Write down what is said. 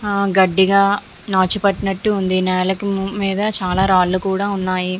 ఆ గడ్డిగా నాచు పట్టినట్టు ఉంది. నేలకు మీద చాలా రాళ్ళు కూడా ఉన్నాయి.